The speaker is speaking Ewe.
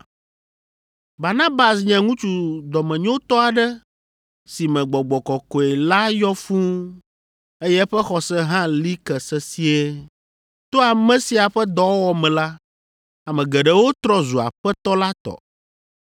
Barnabas nye ŋutsu dɔmenyotɔ aɖe si me Gbɔgbɔ Kɔkɔe la yɔ fũu eye eƒe xɔse hã li ke sesĩe. To ame sia ƒe dɔwɔwɔ me la, ame geɖewo trɔ zu Aƒetɔ la tɔ.